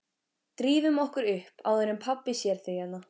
Drífum okkur upp áður en pabbi sér þig hérna